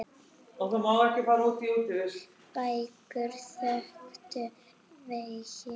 Bækur þöktu veggi.